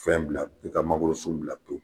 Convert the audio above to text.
Fɛn bila i ka mangoro sun bila pewu